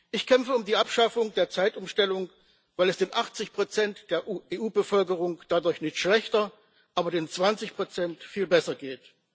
Ich kämpfe für die Abschaffung der Zeitumstellung, weil es den 80 der EU Bevölkerung dadurch nicht schlechter, aber den 20 viel besser geht.